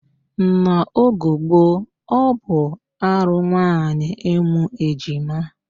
N'ogo gboo, ọ bụ arụ nwaanyị ịmụ ejima